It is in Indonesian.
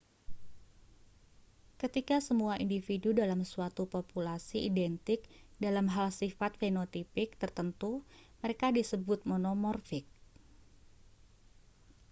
ketika semua individu dalam suatu populasi identik dalam hal sifat fenotipik tertentu mereka disebut monomorfik